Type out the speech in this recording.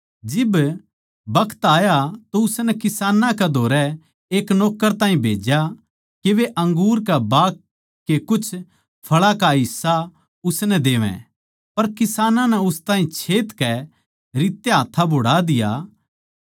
जिब बखत आया तो उसनै किसानां कै धोरै एक नौक्कर ताहीं भेज्या के वे अंगूर के बाग के कुछ फळां का हिस्सा उसनै देवै पर किसानां नै उस ताहीं छेतकै रित्ते हाथ्थां बोहड़ा दिया